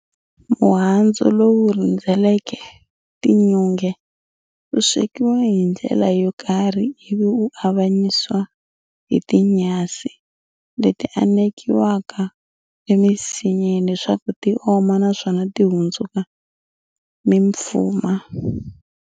"Muhandzu lowu rhendzeleke tinyunge, wu swekiwa hindlela yo karhi ivi wu avanyisiwa hi ti nyhasi, leti anekiwaka e misinyeni leswaku ti oma naswoma ti hundzuku mimfuma.